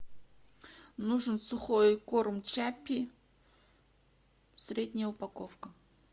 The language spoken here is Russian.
нужен сухой корм чаппи средняя упаковка